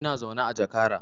Ina zaune a jakara